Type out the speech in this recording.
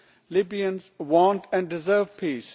Libyans want and deserve peace.